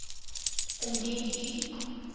indien u